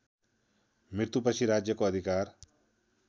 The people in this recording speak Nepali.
मृत्युपछि राज्यको अधिकार